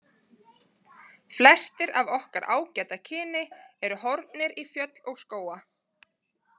Flestir af okkar ágæta kyni eru horfnir í fjöll og skóga.